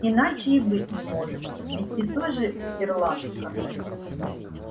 иначе и быть не может ведь ты тоже ирландка